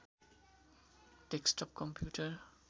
desktop computer